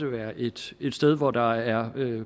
være et sted hvor der er